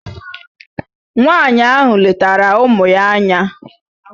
Nwaanyị ahụ letara ụmụ ya anya.